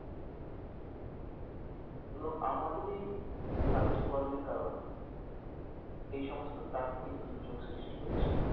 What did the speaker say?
এবং আমাদেরই কার্যকর্মের কারণে এই সমস্ত প্রাকৃতিক দুর্যোগ সৃষ্টি হচ্ছে।